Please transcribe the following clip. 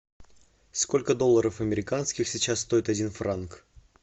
сколько долларов американских сейчас стоит один франк